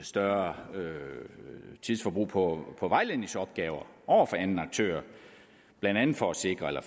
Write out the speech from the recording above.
større tidsforbrug på på vejledningsopgaver over for anden aktør blandt andet for at sikre at